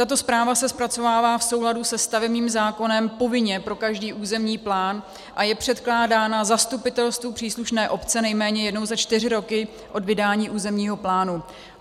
Tato zpráva se zpracovává v souladu se stavebním zákonem povinně pro každý územní plán a je předkládána zastupitelstvu příslušné obce nejméně jednou za čtyři roky od vydání územního plánu.